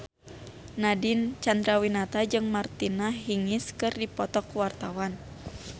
Nadine Chandrawinata jeung Martina Hingis keur dipoto ku wartawan